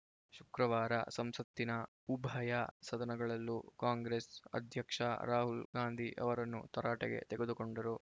ಶುಕ್ರವಾರ ಸಂಸತ್ತಿನ ಉಭಯ ಸದನಗಳಲ್ಲೂ ಕಾಂಗ್ರೆಸ್‌ ಅಧ್ಯಕ್ಷ ರಾಹುಲ್‌ ಗಾಂಧಿ ಅವರನ್ನು ತರಾಟೆಗೆ ತೆಗೆದುಕೊಂಡರು